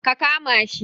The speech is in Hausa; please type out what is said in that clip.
Ka kama shi